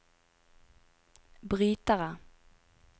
brytere